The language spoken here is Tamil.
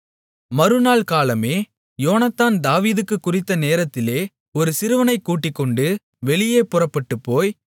மறுநாள் காலமே யோனத்தான் தாவீதுக்குக் குறித்த நேரத்திலே ஒரு சிறுவனைகூட்டிக்கொண்டு வெளியே புறப்பட்டுப்போய்